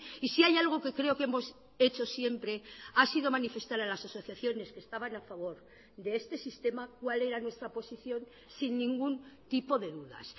y si hay algo que creo que hemos hecho siempre ha sido manifestar a las asociaciones que estaban a favor de este sistema cuál era nuestra posición sin ningún tipo de dudas